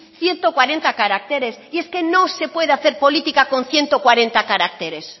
ciento cuarenta caracteres y es que no se puede hacer política con ciento cuarenta caracteres